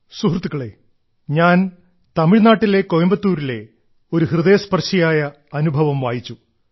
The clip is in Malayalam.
സുഹൃത്തുക്കളേ ഞാൻ തമിഴ്നാട്ടിലെ കോയമ്പത്തൂരിലെ ഒരു ഹൃദയസ്പർശിയായ അനുഭവം വായിച്ചു